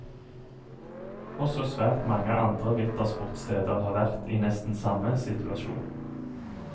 Også svært mange andre vintersportssteder har vært i nesten samme situasjon.